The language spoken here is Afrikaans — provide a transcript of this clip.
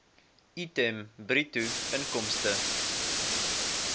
item bruto inkomste